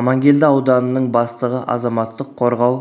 амангелді ауданының бастығы азаматтық қорғау